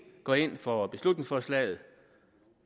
gå ind for beslutningsforslaget